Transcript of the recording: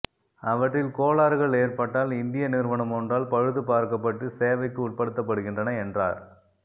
அவற்றில் கோளாறுகள் ஏற்பட்டால் இந்திய நிறுவனம் ஒன்றால் பழுது பார்க்கப்பட்டு சேவைக்கு உட்படுத்தப்படுகின்றன என்றார்